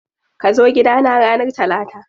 Kazo gida na ranar Talata.